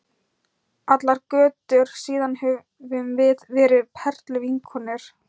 Allar götur síðan höfum við verið perluvinkonur.